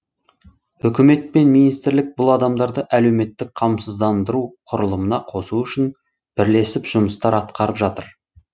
үкімет пен министрлік бұл адамдарды әлеуметтік қамсыздандыру құрылымына қосу үшін бірлесіп жұмыстар атқарып жатыр